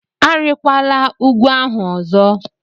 Arịkwala ugwu ahụ ọzọ!